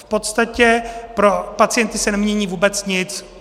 V podstatě pro pacienty se nemění vůbec nic.